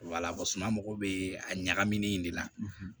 suma mago bɛ a ɲagami ni de la